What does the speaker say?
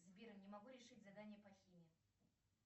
сбер не могу решить задание по химии